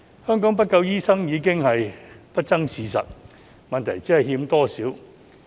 香港沒有足夠醫生已是不爭的事實，問題只是欠缺多少。